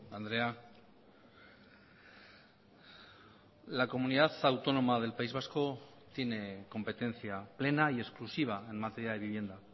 andrea la comunidad autónoma del país vasco tiene competencia plena y exclusiva en materia de vivienda